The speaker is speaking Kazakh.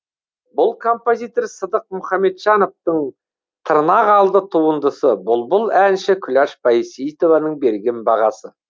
бұл композитор сыдық мұхамеджановтың тырнақалды туындысы бұлбұл әнші күләш байсейітованың берген бағасы